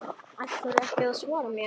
Ætlarðu ekki að svara mér?